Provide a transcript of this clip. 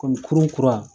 Kɔmi kurun kura